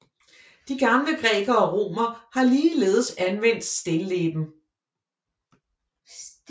De gamle grækere og romere har ligeledes anvendt stilleben